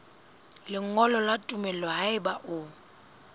lengolo la tumello haeba o